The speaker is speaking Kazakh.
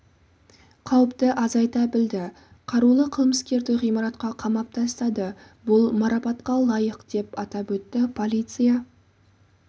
қауіпті азайта білді қарулы қылмыскерді ғимаратқа қамап тастады бұл марапатқа лайық деп атап өтті полиция